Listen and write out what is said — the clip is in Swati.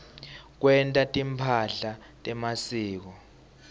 kwenta timphahla temasiko